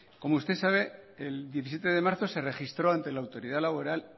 como usted sabe el diecisiete de marzo se registró ante la autoridad laboral